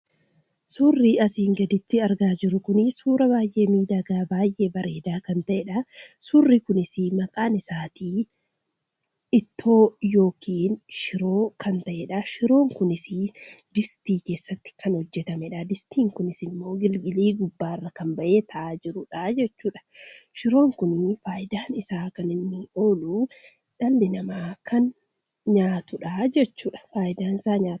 Suurri asiin gaditti argaa jirru kun suuraa baay'ee miidhagaa baay'ee bareedaa kan ta'edha. Suurri kunis maqaan isaatii ittoo yookiin shiroo kan ta'edha. Shiroon kunis distii keessatti kan hojjatamedha. Distiin kunis immoo igilgilii gubbaarra kan bahee taa'aa jirudha jechuudha. Shiroon kun fayidaan isaa kan inni oolu dhalli namaa kan inni nyaatudha jechuudha.